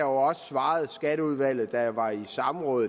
også svaret skatteudvalget da jeg var i samråd